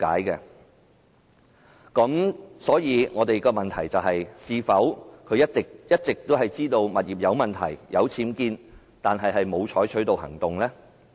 因此，我們的問題是：司長是否一直知悉其物業有僭建物，卻沒有採取行動？